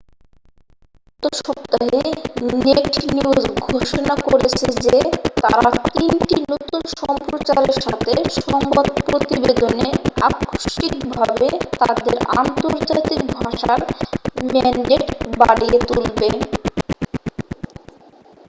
গত সপ্তাহে naked news ঘোষণা করেছে যে তারা তিনটি নতুন সম্প্রচারের সাথে সংবাদ প্রতিবেদনে আকস্মিকভাবে তাদের আন্তর্জাতিক ভাষার ম্যান্ডেট বাড়িয়ে তুলবে